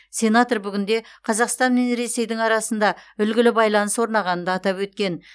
сенатор бүгінде қазақстан мен ресейдің арасында үлгілі байланыс орнағанын да атап өткен